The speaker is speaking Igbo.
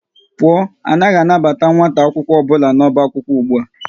Pụọ, anaghị anabata nwata akwụkwọ ọbụla n'ọba akwụkwọ ụgbụa!